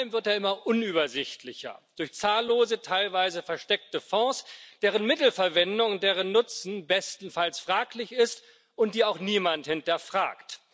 er wird vor allem immer unübersichtlicher durch zahllose teilweise versteckte Fonds, deren Mittelverwendung und deren Nutzen bestenfalls fraglich sind und die auch niemand hinterfragt.